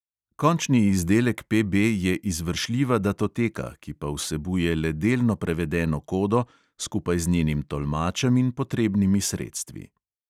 Končni izdelek PB je izvršljiva datoteka, ki pa vsebuje le delno prevedeno kodo, skupaj z njenim tolmačem in potrebnimi sredstvi.